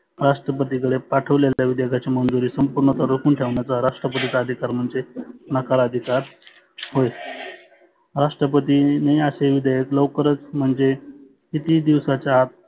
राष्ट्रपतीकडे पाठवलेल्या विधेयाकाची मंजुरी रोकुन ठेवणाचा राष्ट्रपतीचा अधिकार म्हणजे नकार अधिकार होय. राष्ट्रपतीनी असे विधेयक लवकरच म्हणजे किती दिवसांच्या आत.